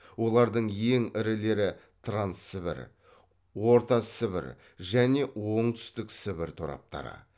олардың ең ірілері транссібір ортасібір және оңтүстіксібір тораптары